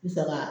N saga